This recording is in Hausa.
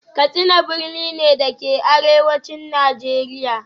Katsina birni ne, da ke a Arewacin Najeriya